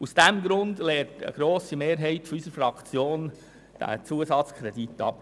Aus diesem Grund lehnt eine grosse Mehrheit unserer Fraktion diesen Zusatzkredit ab.